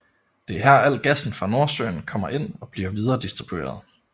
Det er her alt gassen fra Nordsøen kommer ind og bliver videre distribueret